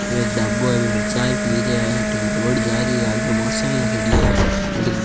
एक ढाबो है बी पर चाय पी रया है अट्ठिन रोड जा रयो है आगे मोटर साइकल खड़ी है बठीन --